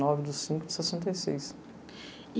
nove do cinco de sessenta e seis. E